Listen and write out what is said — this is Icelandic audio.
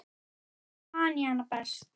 Þannig man ég hana best.